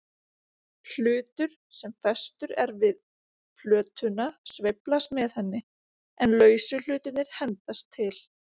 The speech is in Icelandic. Hlutur sem festur er við plötuna sveiflast með henni, en lausu hlutirnir hendast til.